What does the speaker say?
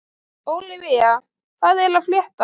Ólivía, hvað er að frétta?